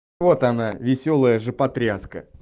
вот она весёлая жопотряска